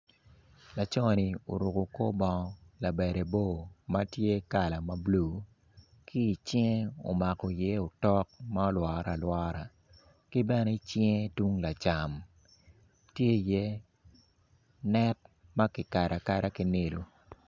Laco ni oruko kor bongo labade bor matye kala ma blue ki i cinge omako i ye otok ma olwore alwora ki bene i cinge tung lacam tye i ye net maki kado akada ki nilu.